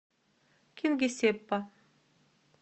кингисеппа